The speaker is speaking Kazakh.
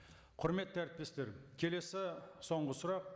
құрметті әріптестер келесі соңғы сұрақ